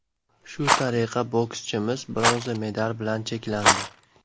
Shu tariqa, bokschimiz bronza medal bilan cheklandi.